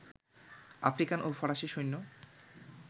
African ও ফরাসী সৈন্য